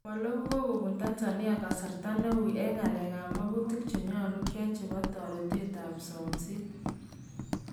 komaloo kokobuun Tanzania kasarta neuy en ng'alek ab makutiik chenyalu kyai chebo toreteed ak somseet .